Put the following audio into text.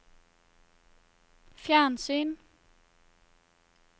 fjernsyn